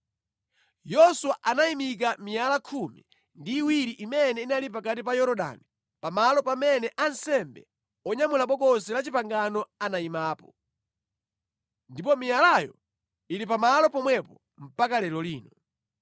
Yoswa anayimika miyala khumi ndi iwiri imene inali pakati pa Yorodani pamalo pamene ansembe onyamula Bokosi la Chipangano anayimapo. Ndipo miyalayo ili pamalo pomwepo mpaka lero lino.